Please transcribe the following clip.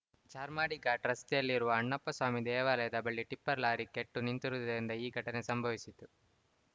ಚಾರ್ಮಾಡಿ ಘಾಟ್‌ ರಸ್ತೆಯಲ್ಲಿರುವ ಅಣ್ಣಪ್ಪಸ್ವಾಮಿ ದೇವಾಲಯದ ಬಳಿ ಟಿಪ್ಪರ್‌ ಲಾರಿ ಕೆಟ್ಟು ನಿಂತುರುದರಿಂದ ಈ ಘಟನೆ ಸಂಭವಿಸಿತು